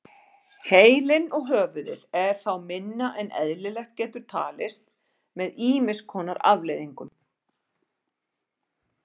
Heilinn og höfuðið er þá minna en eðlilegt getur talist með ýmis konar afleiðingum.